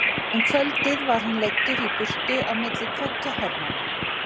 Um kvöldið var hann leiddur í burtu á milli tveggja hermanna.